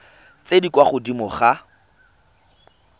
tse di kwa godimo ga